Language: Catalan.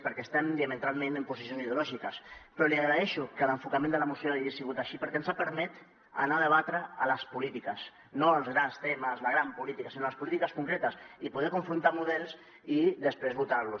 perquè estem diametralment en posicions ideològiques però li agraeixo que l’enfocament de la moció hagi sigut així perquè ens ha permès anar a debatre les polítiques no els grans temes la gran política sinó les polítiques concretes i poder confrontar models i després votar los